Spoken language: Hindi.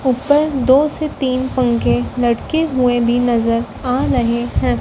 ऊपर दो से तीन पंखे लटके हुए भी नजर आ रहे हैं।